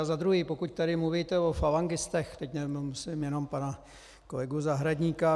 A za druhé, pokud tady mluvíte o falangistech, teď nemyslím jenom pana kolegu Zahradníka.